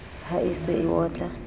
ha e se e otla